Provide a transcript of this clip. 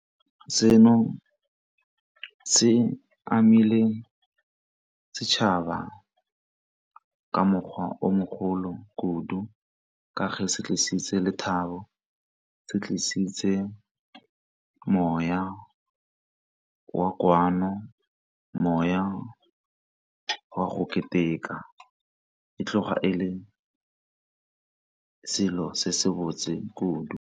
Seno se amile setšhaba ka mokgwa o mogolo kudu ka ge se tlisitse lethabo, se tlisitse moya wa kwano, moya wa go keteka, e tloga e le selo se se botse kudu.